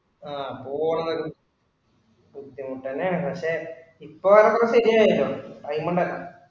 ആഹ് പോവണത് ബുദ്ധിമുട്ടു തന്നെയാണ് പക്ഷെ ഇപ്പൊ അതൊക്കെ ശരിയായല്ലോ. ആയിമെയ്ൻ ഉണ്ടാക്കാം